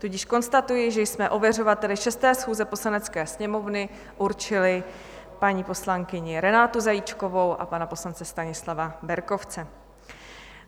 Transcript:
Tudíž konstatuji, že jsme ověřovateli 6. schůze Poslanecké sněmovny určili paní poslankyni Renátu Zajíčkovou a pana poslance Stanislava Berkovce.